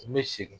N bɛ segin